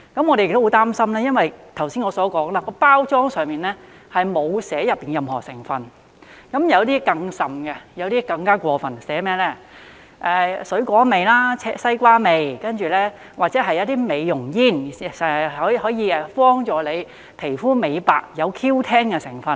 我們亦很擔心，因為正如剛才我所說，包裝上並無列明內裏任何成分，有些更甚、更加過分的是，寫上水果味、西瓜味，或者標明是美容煙，可以幫助吸食者美白皮膚，有 Q10 的成分。